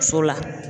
So la